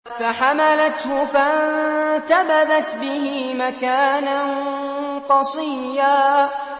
۞ فَحَمَلَتْهُ فَانتَبَذَتْ بِهِ مَكَانًا قَصِيًّا